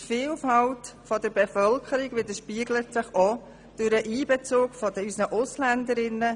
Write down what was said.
Die Vielfalt der Bevölkerung widerspiegelt sich auch im Einbezug unserer AusländerInnen.